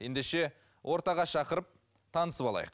ендеше ортаға шақырып танысып алайық